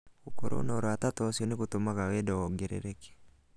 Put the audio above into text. Gũkorũo na ũrata ta ũcio nĩ gũtũmaga wendo wongerereke.